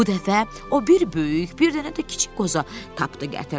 Bu dəfə o bir böyük, bir dənə də kiçik qoza tapdı gətirdi.